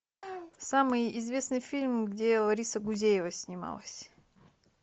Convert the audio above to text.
самый известный фильм где лариса гузеева снималась